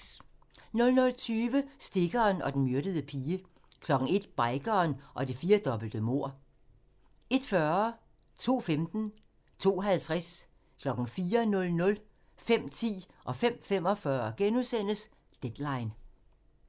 00:20: Stikkeren og den myrdede pige 01:00: Bikeren og det firdobbelte mord 01:40: Deadline * 02:15: Deadline * 02:50: Deadline * 04:00: Deadline * 05:10: Deadline * 05:45: Deadline *